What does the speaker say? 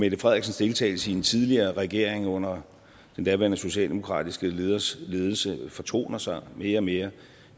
mette frederiksens deltagelse i en tidligere regering under den daværende socialdemokratiske leders ledelse fortoner sig mere og mere